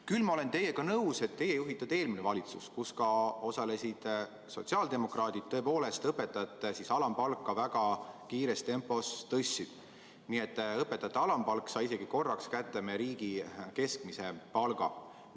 Küll aga olen ma nõus sellega, et teie juhitud eelmine valitsus, kus osalesid ka sotsiaaldemokraadid, tõepoolest õpetajate alampalka väga kiires tempos tõstis, nii et õpetajate alampalk jõudis korraks isegi järele meie riigi keskmisele palgale.